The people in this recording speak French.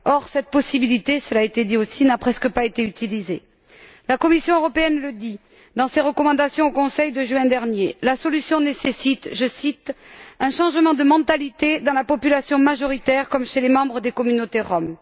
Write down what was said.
Or, cette possibilité cela a été dit aussi n'a presque pas été utilisée. La Commission européenne le dit dans ses recommandations au Conseil de juin dernier la solution nécessite, je cite, un changement de mentalité dans la population majoritaire comme chez les membres des communautés roms.